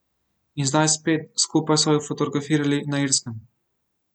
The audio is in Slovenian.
In zdaj spet, skupaj so ju fotografirali na Irskem.